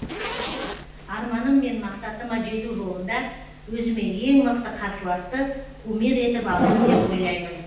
арманым мен мақсатыма жету жолында өзіме ең мықты қарсыласты кумир етіп алдым деп ойлаймын